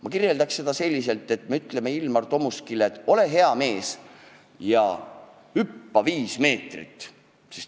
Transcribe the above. Ma kirjeldaks seda selliselt, et me ütleme Ilmar Tomuskile, et ole hea mees ja hüppa viis meetrit.